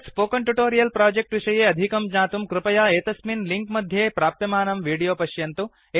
एतत् spoken tutorial project विषये अधिकं ज्ञातुं कृपया एतस्मिन् लिङ्क् मध्ये प्राप्यमानं विडोयो पश्यन्तु